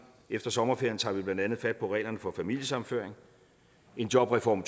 efter sommerferien tager vi blandt andet fat på reglerne for familiesammenføring en jobreform